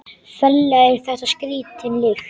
Ferlega er þetta skrítin lykt.